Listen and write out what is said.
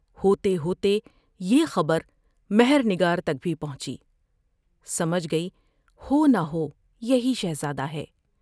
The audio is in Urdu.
ہوتے ہوتے یہ خبر مہر نگار تک بھی پہنچی۔ سمجھ گئی ہو نہ ہو یہی شہزادہ ہے ۔